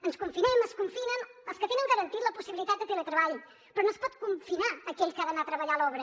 ens confinem es confinen els que tenen garantida la possibilitat de teletreball però no es pot confinar aquell que ha d’anar a treballar a l’obra